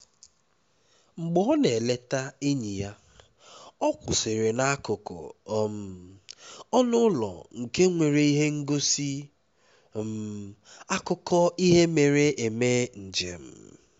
mgbe ọ na-eleta enyi ya ọ kwụsịrị n'akụkụ um ọnụ ụlọ nke nwere ihe ngosi um akụkọ ihe mere eme njem